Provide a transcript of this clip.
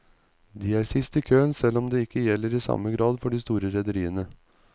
De er sist i køen, selv om det ikke gjelder i samme grad for de store rederiene.